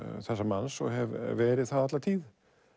þessa manns og hef verið það alla tíð